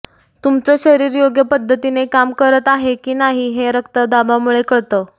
तुमचं शरीर योग्य पद्धतीने काम करत आहे की नाही हे रक्तदाबामुळे कळतं